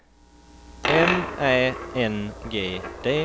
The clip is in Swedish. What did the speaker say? M Ä N G D